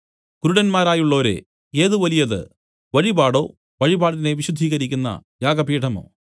കുരുടന്മാരായുള്ളോരേ ഏത് വലിയത് വഴിപാടോ വഴിപാടിനെ വിശുദ്ധീകരിക്കുന്ന യാഗപീഠമോ